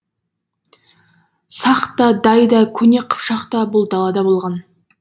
сақ та дай да көне қыпшақ та бұл далада болған